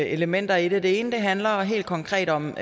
elementer i det det ene handler helt konkret om